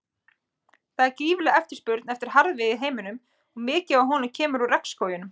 Það er gífurleg eftirspurn eftir harðviði í heiminum og mikið af honum kemur úr regnskógum.